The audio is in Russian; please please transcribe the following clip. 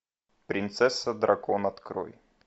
принцесса дракон открой